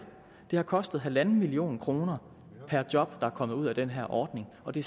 det har kostet en million kroner per job der er kommet ud af den her ordning og det